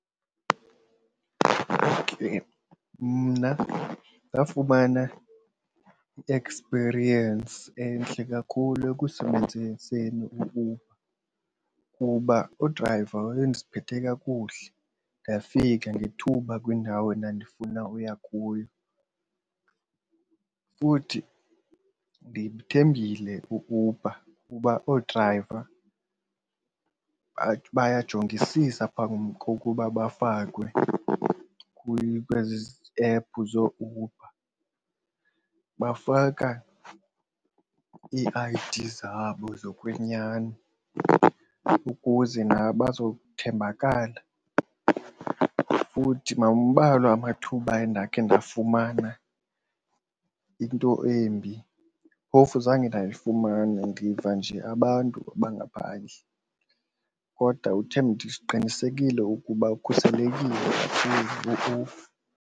Mna ndafumana i-experience entle kakhulu ekusebenziseni iUber kuba udrayiva wayendiphethe kakuhle ndafika ngethuba kwiindawo endandifunda uya kuyo. Futhi ndimthembile u-Uber kuba oodrayiva ngathi bayajongisiswa phambi kokuba bafakwe kwezi ephu zooUber, bafaka i-I_D zabo zokwenyani ukuze nabo baza kuthembakala. Futhi mambalwa amathuba endakhe ndafumana into embi, phofu zange ndafumana ndiva nje abantu abangaphandle. Kodwa ndiqinisekile ukuba ukhuselekile kakhulu .